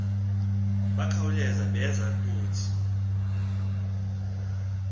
bakhawuleza beza kuthi